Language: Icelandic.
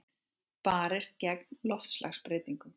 Barist gegn loftslagsbreytingum